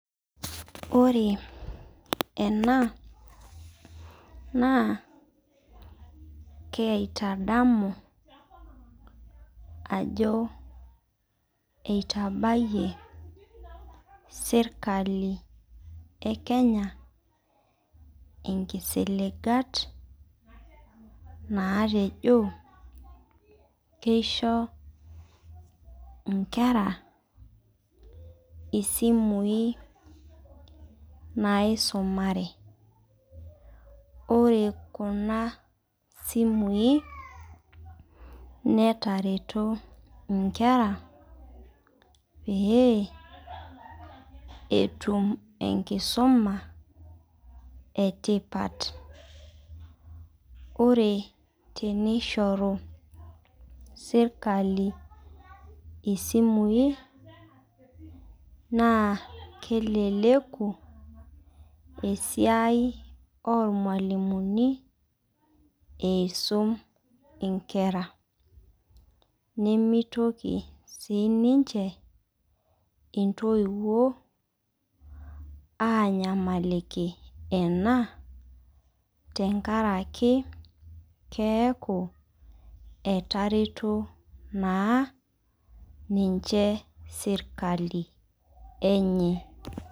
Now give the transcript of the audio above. Ore ena naa kaitadamu ajo eitabayie serikali e Kenya inkisiligat naatejo keisho inkera isimui naisumare Ore kuna simui netareto inkera pee etum enkisuma etipat Ore teneishoru serikali esimui naa keleleku esiai oolmalimuni eisum inkera nemeitoki sii ninche intoiwuo aanyamaliki ena tenkaraki keaku etareto naa niche sirikali enye